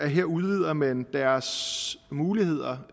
her udvider man deres muligheder